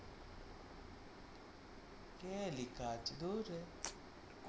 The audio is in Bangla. কে লেখা আছে ধুর রে,